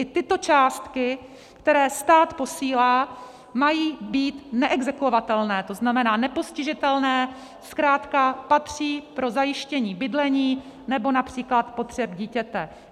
I tyto částky, které stát posílá, mají být neexekuovatelné, to znamená nepostižitelné, zkrátka patří pro zajištění bydlení nebo například potřeb dítěte.